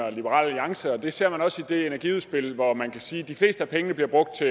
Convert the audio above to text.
og liberal alliance og det ser man også i det energiudspil hvor man kan sige at de fleste af pengene bliver brugt til